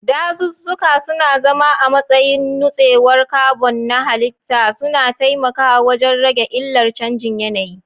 Dazuzzuka suna zama a matsayin nutsewar carbon na halitta, suna taimakawa wajen rage illar canjin yanayi.